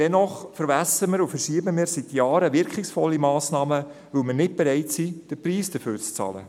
Dennoch verwässern und verschieben wir seit Jahren wirkungsvolle Massnahmen, weil wir nicht bereit sind, den Preis dafür zu bezahlen.